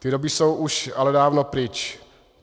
Ty doby jsou už ale dávno pryč.